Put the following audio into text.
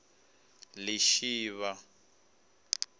lishivha